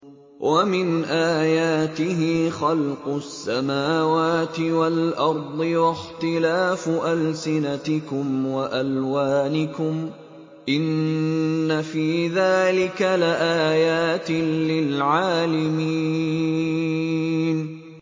وَمِنْ آيَاتِهِ خَلْقُ السَّمَاوَاتِ وَالْأَرْضِ وَاخْتِلَافُ أَلْسِنَتِكُمْ وَأَلْوَانِكُمْ ۚ إِنَّ فِي ذَٰلِكَ لَآيَاتٍ لِّلْعَالِمِينَ